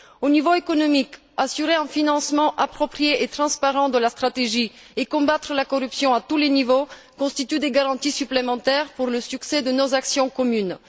Au niveau économique, assurer un financement approprié et transparent de la stratégie et combattre la corruption à tous les niveaux constituent des garanties supplémentaires pour le succès de nos actions communes.